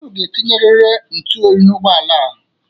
Unu ga-etinyeriri ntụ oyi n'ụgbọala a.